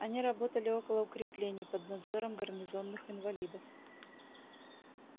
они работали около укреплений под надзором гарнизонных инвалидов